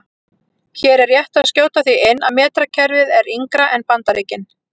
Hér er rétt að skjóta því inn að metrakerfið er yngra en Bandaríkin.